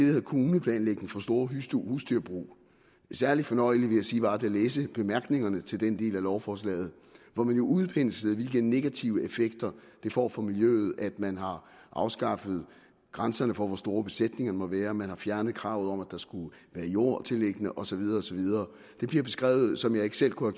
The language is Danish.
hedder kommuneplanlægning for store husdyrbrug det særlig fornøjelige var vil læse bemærkningerne til den del af lovforslaget hvor man jo udpenslede hvilke negative effekter det får for miljøet at man har afskaffet grænserne for hvor store besætningerne må være man har fjernet kravet om at der skulle være jordtilliggender og så videre og så videre det bliver beskrevet som jeg ikke selv kunne